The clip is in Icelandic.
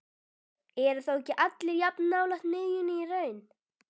Eru þá ekki allir jafn nálægt miðjunni í raun?